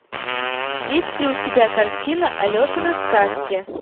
есть ли у тебя картина алешины сказки